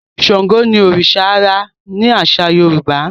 Ṣàngó ní oriṣa ãrá ni aṣa Yorùbá